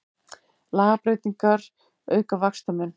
Lagabreytingar auka vaxtamun